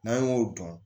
N'an y'o dɔn